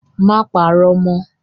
Má parọ́ mọ́!